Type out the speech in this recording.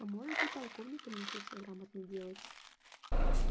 а может и полковником если все грамотно делать